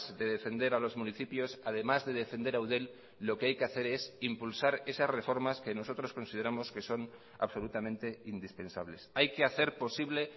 de defender a los municipios además de defender a eudel lo que hay que hacer es impulsar esas reformas que nosotros consideramos que son absolutamente indispensables hay que hacer posible